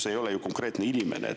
See ei ole ju konkreetne inimene.